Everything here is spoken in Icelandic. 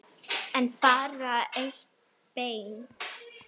En bara eitt bein.